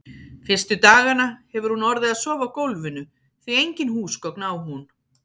Fyrstu dagana hefur hún orðið að sofa á gólfinu, því engin húsgögn á hún.